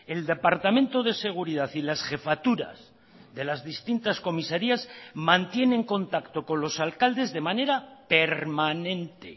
el departamento de seguridad y las jefaturas de las distintas comisarias mantienen contacto con los alcaldes de manera permanente